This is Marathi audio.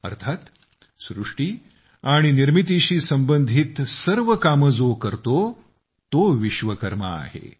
अर्थात सृष्टी आणि निर्मितीशी संबंधित सर्व कामे जो करतो तो विश्वकर्मा आहे